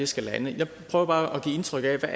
skal lande jeg prøver bare at give indtryk af hvad